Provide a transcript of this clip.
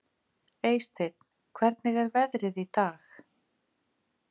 Eysteinn, hvernig er veðrið í dag?